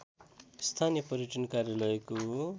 स्थानीय पर्यटन कार्यालयको